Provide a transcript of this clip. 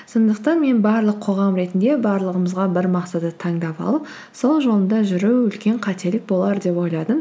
сондықтан мен барлық қоғам ретінде барлығымызға бір мақсатты таңдап алып сол жолында жүру үлкен қателік болар деп ойладым